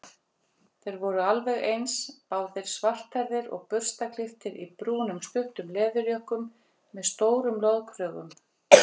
Þeir voru alveg eins, báðir svarthærðir og burstaklipptir í brúnum stuttum leðurjökkum með stórum loðkrögum.